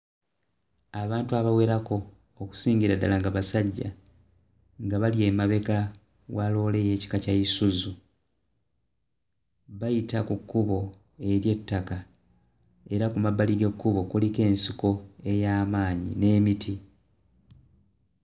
Abantu abawerako okusingira ddala nga basajja nga bali emabega wa loole ey'ekika kya Isuzu bayita ku kkubo ery'ettaka era ku mabbali g'ekkubo kuliko ensiko ey'amaanyi n'emiti.